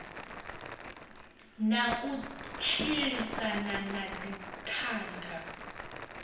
na u tshilisana na dzithanga